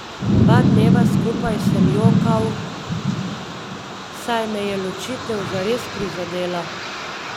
Dva dneva skupaj sem jokal, saj me je ločitev zares prizadela.